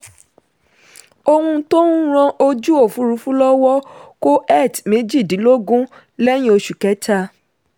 ohun tó ń ran ojú òfurufú lọ́wọ́ kó eth méjìdínlógún lẹ́yìn oṣù kẹta.